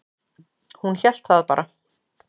Hún hélt það bara.